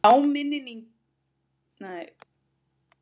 Áminningin er ekki tilefnislaus.